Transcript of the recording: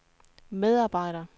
medarbejder